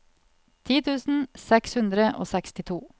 ti tusen seks hundre og sekstito